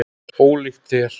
Ólíkt þér.